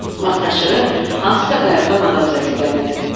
Vaxtaşırı hansısa qayıqdan adam səsi gəlirdi.